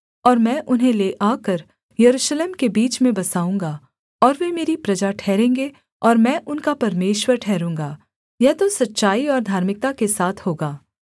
और मैं उन्हें ले आकर यरूशलेम के बीच में बसाऊँगा और वे मेरी प्रजा ठहरेंगे और मैं उनका परमेश्वर ठहरूँगा यह तो सच्चाई और धार्मिकता के साथ होगा